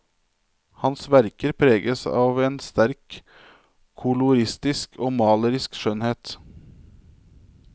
Hans verker preges av en sterk koloristisk og malerisk skjønnhet.